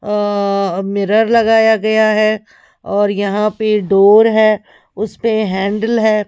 अ mirror लगाया गया है और यहां पे डोर है उस पे हैंडल है।